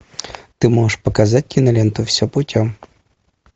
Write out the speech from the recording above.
ты можешь показать киноленту все путем